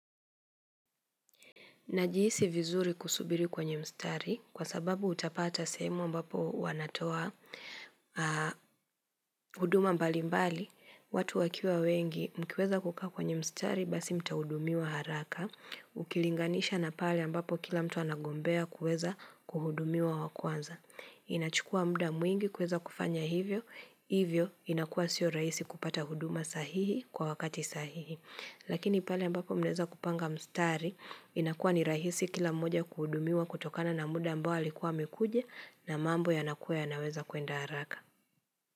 Najihisi vizuri kusubiri kwenye mstari kwa sababu utapata semu ambapo wanatoa huduma mbali mbali watu wakiwa wengi mkiweza kukaa kwenye mstari basi mtaudumiwa haraka ukilinganisha na pale ambapo kila mtu anagombea kueza kuhudumiwa wa kwanza. Inachukua muda mwingi kuweza kufanya hivyo, hivyo inakua sio raisi kupata huduma sahihi kwa wakati sahihi Lakini pale ambapo mnaweza kupanga mstari, inakua ni rahisi kila mmoja kuhudumiwa kutokana na muda ambao alikuwa amekuja na mambo yanakua yanaweza kwenda haraka.